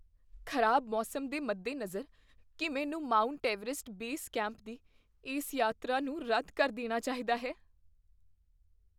ਖ਼ਰਾਬ ਮੌਸਮ ਦੇ ਮੱਦੇਨਜ਼ਰ, ਕੀ ਮੈਨੂੰ ਮਾਊਂਟ ਐਵਰੈਸਟ ਬੇਸ ਕੈਂਪ ਦੀ ਇਸ ਯਾਤਰਾ ਨੂੰ ਰੱਦ ਕਰ ਦੇਣਾ ਚਾਹੀਦਾ ਹੈ?